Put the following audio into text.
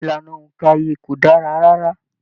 Ìlànà óńka ìyè kò dára rárá.